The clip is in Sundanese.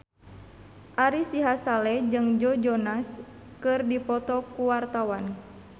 Ari Sihasale jeung Joe Jonas keur dipoto ku wartawan